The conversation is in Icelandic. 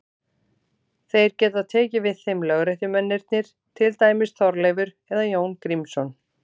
Þeir geta tekið við þeim lögréttumennirnir, til dæmis Þorleifur eða Jón Grímsson.